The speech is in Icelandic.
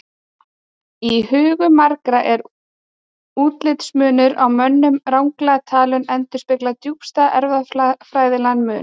Í hugum margra er útlitsmunur á mönnum ranglega talinn endurspegla djúpstæðan erfðafræðilegan mun.